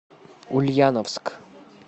ульяновск